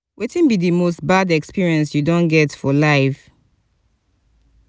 wetin be di most bad experience you don get for life?